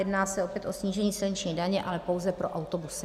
Jedná se opět o snížení silniční daně, ale pouze pro autobusy.